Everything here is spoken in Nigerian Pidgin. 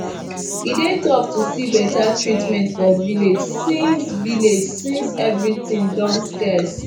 e dey tough too see beta treatment for village since village since every tin don scarce